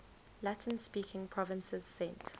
latin speaking provinces sent